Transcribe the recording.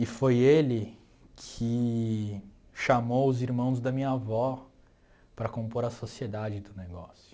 E foi ele que chamou os irmãos da minha avó para compor a sociedade do negócio.